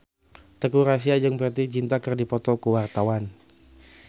Teuku Rassya jeung Preity Zinta keur dipoto ku wartawan